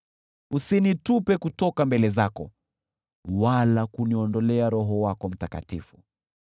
Usinitupe kutoka mbele zako wala kuniondolea Roho wako Mtakatifu.